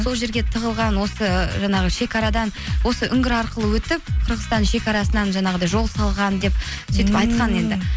сол жерге тығылған осы жаңағы шекарадан осы үңгір арқылы өтіп қырғыстан шекарасынан жаңағыдай жол салған деп сөйтіп айтқан енді